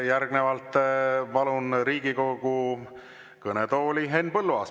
Järgnevalt palun Riigikogu kõnetooli Henn Põlluaasa.